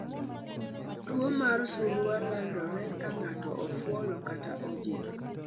Tuwo mar Surua landore ka ng'ato ofuolo kata ojir.